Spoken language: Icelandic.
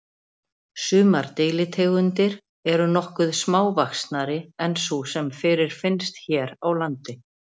Sumar deilitegundir eru nokkuð smávaxnari en sú sem fyrirfinnst hér á landi.